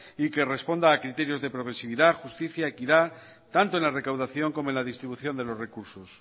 y que responde a criterios de progresividad justicia equidad tanto en la recaudación como en la distribución de los recursos